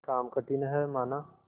काम कठिन हैमाना